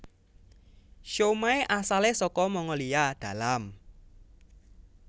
Siomai asalé saka Mongolia dalam